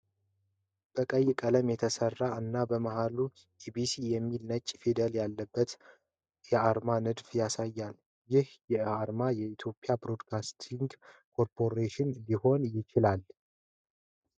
በቀይ ቀለም የተሰራ እና በመሃሉ "እቢሲ" የሚል ነጭ ፊደላት ያለበትን የአርማ ንድፍ ያሳያል። ይህ አርማ የኢትዮጵያ ብሮድካስቲንግ ኮርፖሬሽን ሊሆን ይችላል?